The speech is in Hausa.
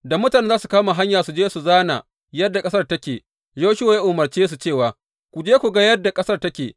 Da mutanen za su kama hanya su je su zāna yadda ƙasar take, Yoshuwa ya umarce su cewa, Ku je ku ga yadda ƙasar take.